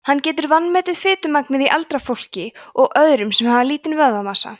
hann getur vanmetið fitumagnið í eldra fólki og öðrum sem hafa lítinn vöðvamassa